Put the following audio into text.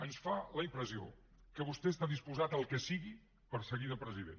ens fa la impressió que vostè està disposat al que sigui per seguir de president